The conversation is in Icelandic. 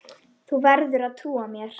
Þú verður að trúa mér.